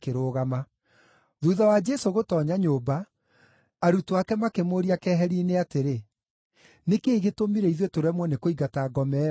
Thuutha wa Jesũ gũtoonya nyũmba, arutwo ake makĩmũũrĩria keheri-inĩ atĩrĩ, “Nĩ kĩĩ gĩtũmire ithuĩ tũremwo nĩ kũingata ngoma ĩyo?”